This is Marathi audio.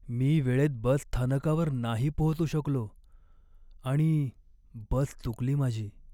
मी वेळेत बसस्थानकावर नाही पोहोचू शकलो आणि बस चुकली माझी.